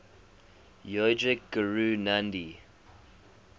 yogic guru nandhi